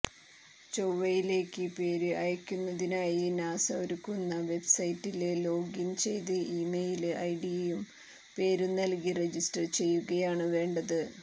ചൊവ്വയിലേക്ക് പേര് അയയ്ക്കുന്നതിനായി നാസ ഒരുക്കുന്ന വെബ്സൈറ്റില് ലോഗിന് ചെയ്ത് ഇമെയില് ഐഡിയും പേരും നല്കി രജിസ്റ്റര് ചെയ്യുകയാണ് വേണ്ടത്